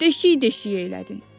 Deşik-deşik elədin.